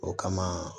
O kama